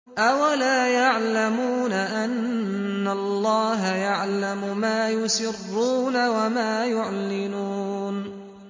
أَوَلَا يَعْلَمُونَ أَنَّ اللَّهَ يَعْلَمُ مَا يُسِرُّونَ وَمَا يُعْلِنُونَ